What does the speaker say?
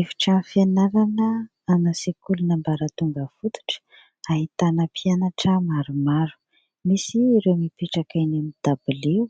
Efitrano fianarana ana sekoly ambaratonga fototra ahitana mpianatra maromaro misy ireo mimpetraka eny amin'ny dabilio